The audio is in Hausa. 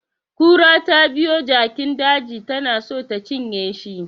Kura tabiyo jakin daji tana so ta cinye shi